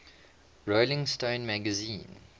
rolling stone magazine